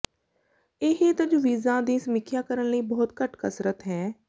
ਇਹ ਤਜਵੀਜ਼ਾਂ ਦੀ ਸਮੀਖਿਆ ਕਰਨ ਲਈ ਬਹੁਤ ਘੱਟ ਕਸਰਤ ਹੈ